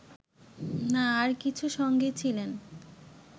না আর কিছু সঙ্গে ছিলেন